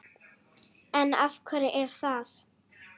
En af hverju er það?